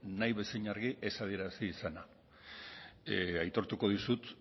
nahi bezain argi ez adierazi izana aitortuko dizut